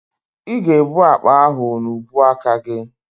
Ị ga-ebu akpa ahụ n'ubuaka gị.